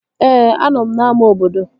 Ee, anọ m n'ámá obodo